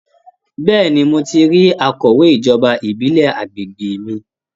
Bẹ́ẹ̀ni, mo ti rí akọ̀wé ijoba ìbílẹ̀ àgbègbè mi